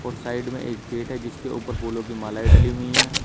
Side में एक gate है जिसके ऊपर फूलों की मालाएं डली हुई हैं।